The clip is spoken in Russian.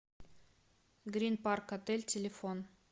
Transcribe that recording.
грин парк отель телефон